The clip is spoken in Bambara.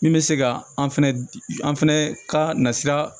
Min bɛ se ka an fɛnɛ an fana ka na sira